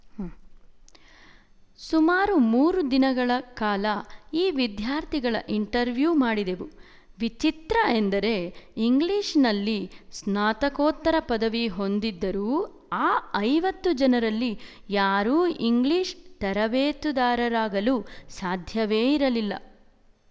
ಸುಮಾರು ಮೂರು ದಿನಗಳ ಕಾಲ ಈ ವಿದ್ಯಾರ್ಥಿಗಳ ಇಂಟರ್ವ್ಯೂ ಮಾಡಿದೆವು ವಿಚಿತ್ರ ಎಂದರೆ ಇಂಗ್ಲಿಶಿನಲ್ಲಿ ಸ್ನಾತಕೋತ್ತರ ಪದವಿ ಹೊಂದಿ ದಿದ್ದರೂ ಆ ಐವತ್ತು ಜನರಲ್ಲಿ ಯಾರೂ ಇಂಗ್ಲಿಶ್‌ ತರಬೇತುದಾರರಾಗಲು ಸಾಧ್ಯವೇ ಇರಲಿಲ್ಲ